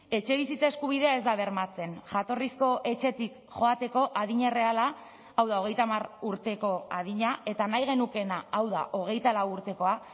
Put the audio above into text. etxebizitza eskubidea ez da bermatzen jatorrizko etxetik joateko adin erreala hau da hogeita hamar urteko adina eta nahi genukeena hau da hogeita lau urtekoa